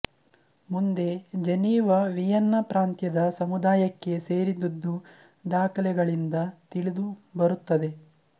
ಮುಂದೆ Geneva Vienna ಪ್ರಾಂತ್ಯದ ಸಮುದಾಯಕ್ಕೆ ಸೇರಿದ್ದುದು ದಾಖಲೆಗಳಿಂದ ತಿಳಿದುಬರುತ್ತದೆ